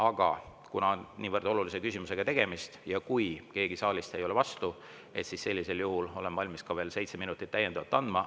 Aga kuna tegemist on niivõrd olulise küsimusega ja kui keegi saalist ei ole vastu, sellisel juhul olen valmis veel seitse minutit täiendavalt andma.